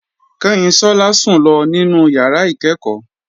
Kanyinsola sùn lọ nínú yàrá ìkẹ́ẹ̀kọ́.